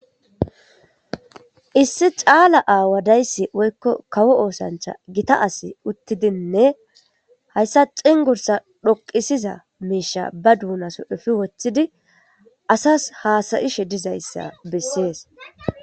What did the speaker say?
issi caala aawa dayssi woykko kawo oosancha gita asi uttidinne hayssa xinggursa dhoqisiza miisha ba duunaso efi woththidi asas haasayishe dizayssa bessees.